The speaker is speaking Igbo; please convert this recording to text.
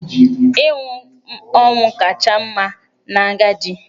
Ịnwụ ọnwụ kacha mma n'agadi.